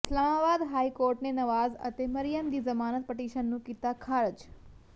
Islamabad high court ਨੇ ਨਵਾਜ਼ ਅਤੇ ਮਰਿਅਮ ਦੀ ਜ਼ਮਾਨਤ ਪਟੀਸ਼ਨ ਨੂੰ ਕੀਤਾ ਖ਼ਾਰਜ